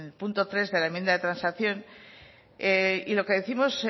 punto tres de la enmienda de transacción y lo que décimos